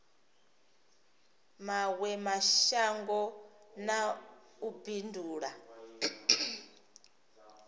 mawe mashango na u bindula